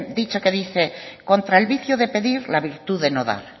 dicho que dice contra el vicio de pedir la virtud de no dar